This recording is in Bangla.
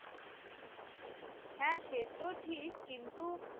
হ্যাঁ সে তো ঠিক, কিন্তু